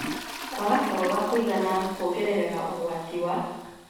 Kwaga toro wa kũigana kuongereraga ũgwati wa